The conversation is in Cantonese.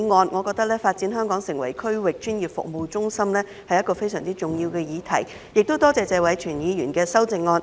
我認為發展香港成為區域專業服務中心是一項相當重要的議題，亦感謝謝偉銓議員提出修正案。